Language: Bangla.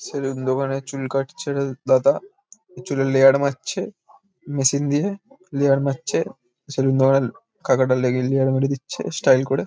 সেলুন দোকানে চুল কাটছে এটা দাদা। চুলে লেয়ার মারছে। মেশিন দিয়ে লেয়ার মারছে। সেলুন দোকানের কাকাটা লেগি লেয়ার মেরে দিচ্ছে স্টাইল করে।